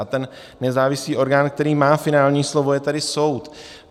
A ten nezávislý orgán, který má finální slovo, je tady soud.